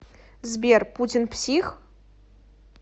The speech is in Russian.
сбер путин псих